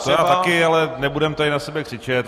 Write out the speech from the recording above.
To já taky, ale nebudeme tady na sebe křičet.